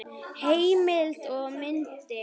Heimild og myndir